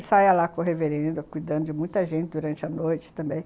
Ele saia lá com a reverenda, cuidando de muita gente durante a noite também.